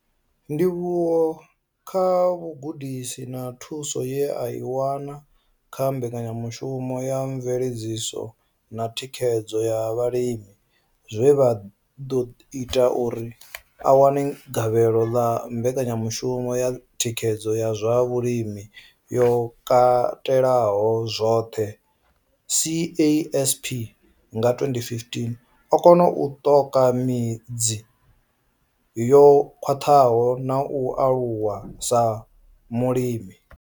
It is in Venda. Ndivhuwo kha vhugudisi na thuso ye a i wana kha mbekanyamushumo ya mveledziso na thikhedzo ya vhalimi zwe zwa ḓo ita uri a wane gavhelo ḽa mbekanyamushumo ya thikhedzo ya zwa vhulimi yo katelaho zwoṱhe CASP nga 2015, o kona u ṱoka midzi yo khwaṱhaho na u aluwa sa mulimi.